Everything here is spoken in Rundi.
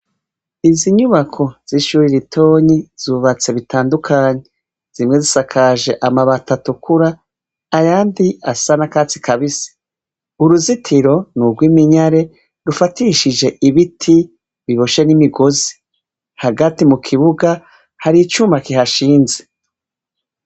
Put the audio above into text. Izinyubako zishure ritonyi zubatse zitandukanye zimwe zisakaje amabati atukura ayandi asa n'urwatsi rubisi uruzitiro nurw'iminyare rufatishije ibiti biboshe n'imisozi hagati mukibuga haricuma kihashinze.